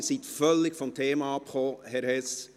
Sie sind völlig vom Thema abgewichen, Herr Hess.